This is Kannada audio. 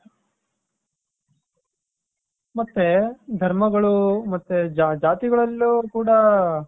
ಮತ್ತೆ ಧರ್ಮಗಳು ಮತ್ತೆ ಜಾತಿಗಳಲ್ಲೂ ಕೂಡ .